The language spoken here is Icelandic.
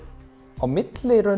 á milli